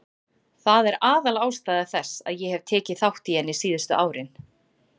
Það er aðalástæða þess að ég hef tekið þátt í henni síðustu árin.